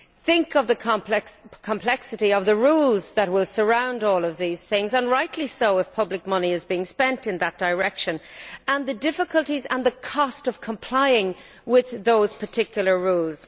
Think of the complexity of the rules that will surround all these things and rightly so if public money is being spent in that direction, and the difficulties and cost of complying with those particular rules.